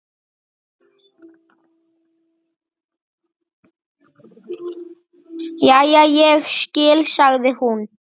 Jæja, ég skil, sagði hún.